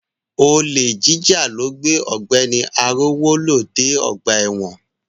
Olè jíjà ló gbé Ọ̀gbẹ́ni Arówólò dé ọgbà ẹ̀wọ̀n.